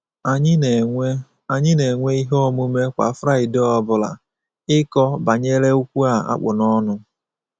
“Anyị na-enwe “Anyị na-enwe ihe omume kwa Fraịdee ọbụla, ịkọ banyere okwu a kpụ n’ọnụ.